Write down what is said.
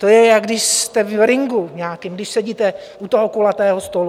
To je, jako když jste v ringu nějakém, když sedíte u toho kulatého stolu.